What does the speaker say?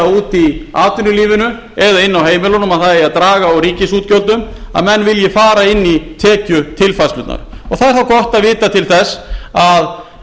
úti í atvinnulífinu eða inni á heimilunum að það eigi að draga úr ríkisútgjöldum að menn vilji fara inn í tekjutilfærslurnar og það er þá gott að vita til þess að